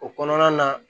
O kɔnɔna na